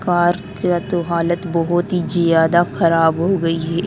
Car का तो हालत बहुत ही ज्यादा खराब हो गई है ।